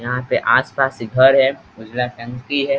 यहां पे आस-पास घर है उजला टंकी है।